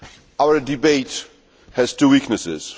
follow. Our debate has two weaknesses.